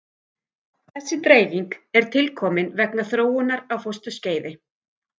Þessi dreifing er tilkomin vegna þróunar á fósturskeiði.